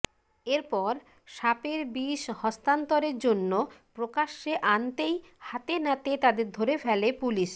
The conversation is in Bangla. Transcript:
এরপর সাপের বিষ হস্তান্তরের জন্য প্রকাশ্যে আনতেই হাতেনাতে তাদের ধরে ফেলে পুলিশ